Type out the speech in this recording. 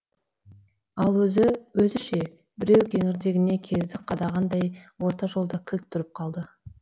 ал өзі өзі ше біреу кеңірдегіне кездік қадағандай орта жолда кілт тұрып қалды